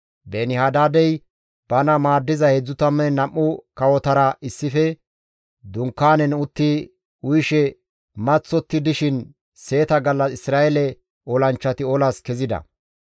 Beeni-Hadaadey bana maaddiza 32 kawotara issife dunkaanen utti uyishe maththotti dishin seeta gallas Isra7eele olanchchati olas kezida.